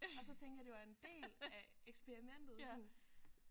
Og så tænkte jeg det var en del af eksperimentet sådan